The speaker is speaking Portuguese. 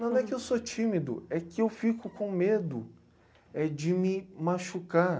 Não é que eu sou tímido, é que eu fico com medo é de me machucar.